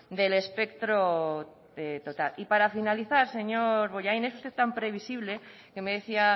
del espectro total para finalizar señor bollain es usted tan previsible que me decía